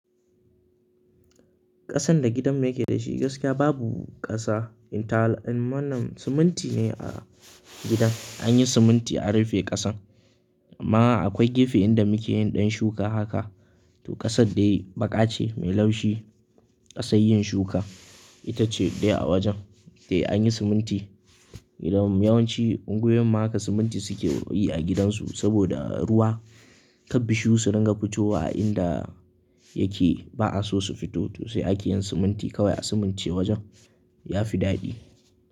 Ƙasan da gidan mu yake da shi gaskiya babu ƙasa, in talan wannan siminti ne a gidan. An yi siminti an rufe ƙasan. Amma akwai gefe inda muke yin ɗan shuka haka. To ƙasad dai baƙa ce mai laushi. Ƙasan yin shuka ita ce dai a wajen. Eh an yi siminti. Gidan mu, yawanci unguwoyin mu haka siminti suke yi a gidansu saboda ruwa kab bishiyu su dinga fitowa a inda yake ba'a so su fito to sai ake yin siminti kawai a simince wajen. Ya fi daɗi.